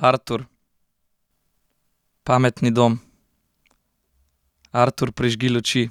Artur. Pametni dom. Artur, prižgi luči.